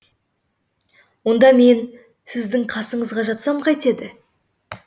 онда мен сіздің қасыңызға жатсам қайтеді